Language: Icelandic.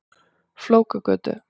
Flókagötu